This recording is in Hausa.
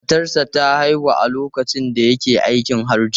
Matarsa ​​ta haihu a lokacin da yake aikin Hajji.